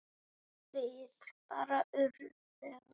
Við bara urðum.